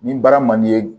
Ni baara man di ye